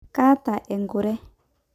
kaata enkure